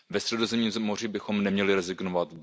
Ve Středozemním moři bychom neměli rezignovat.